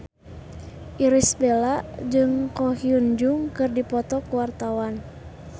Irish Bella jeung Ko Hyun Jung keur dipoto ku wartawan